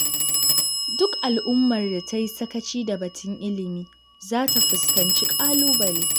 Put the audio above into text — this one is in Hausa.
Duk al'ummar da ta yi sakaci da batun ilimi za ta fuskanci ƙalubale.